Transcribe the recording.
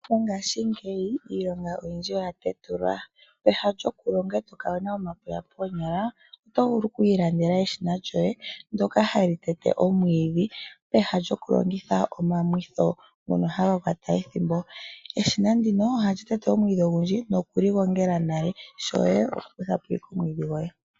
Mongashingeyi iilonga oyindji oya tetulwa. Peha lyoku longa e to kala wu na omapuya koonyala oto vulu oku ilandela eshina lyoye ndyoka hali tete omwiidhi peha lyoku longitha omamwitho ngono haga kwata ethimbo. Eshina ndino ohali tete omwiidhi ogundju nokugu gongela, ngweye shoye oku kutha po wala omwiidhi gwoye.